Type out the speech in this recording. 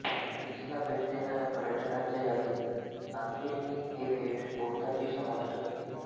ग्रीसला भेट देणाऱ्या पर्यटकांच्या यादीत सान्तोरिनी हे बेट बहुतांशी समाविष्ट असते